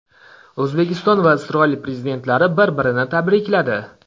O‘zbekiston va Isroil prezidentlari bir-birini tabrikladi.